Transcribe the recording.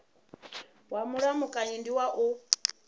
wa mulamukanyi ndi wa u